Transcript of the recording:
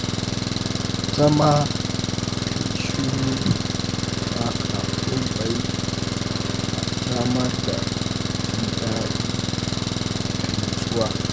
Zama kayi shiru baka komai na samar da jin daɗi da nutsuwa.